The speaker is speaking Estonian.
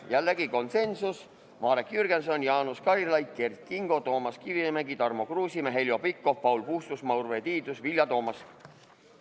Jällegi olid konsensuslikult poolt Marek Jürgenson, Jaanus Karilaid, Kert Kingo, Toomas Kivimägi, Tarmo Kruusimäe, Heljo Pikhof, Paul Puustusmaa, Urve Tiidus ja Vilja Toomast.